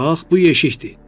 Bax, bu yeşikdir.